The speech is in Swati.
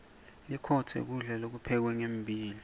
likhotse kulda lokuphekwe ngembila